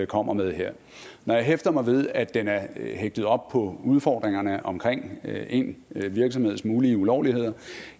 kommer med her når jeg hæfter mig ved at den er er hæftet op på udfordringerne omkring én virksomheds mulige ulovligheder